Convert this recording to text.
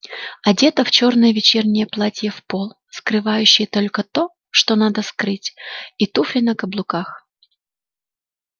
одета в чёрное вечернее платье в пол скрывающее только то что надо скрыть и туфли на каблуках